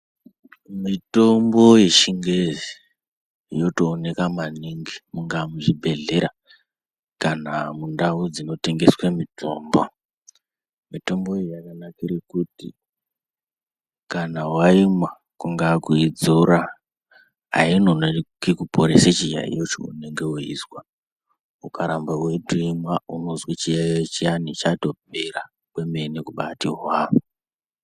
Mitombo yechingezi inotooneka maningi mungaa muchibhedhlera kana mundau dzinotengeswa mitombo. Mitombo iyi yakanakira kuti kana waimwa kungaaa kuidzora, ainonoki kuporesa chiyaeyo cheunenge weizwa. Ukaramba weiimwa unozwa chiyaeyo chiyana chatopera wemene kubaati hwaa .